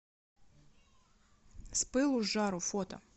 с пылу с жару фото